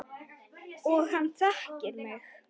Og hann þekkir mig.